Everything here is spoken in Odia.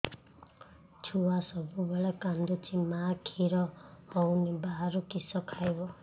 ଛୁଆ ସବୁବେଳେ କାନ୍ଦୁଚି ମା ଖିର ହଉନି ବାହାରୁ କିଷ ଖାଇବ